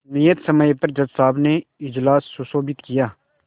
नियत समय पर जज साहब ने इजलास सुशोभित किया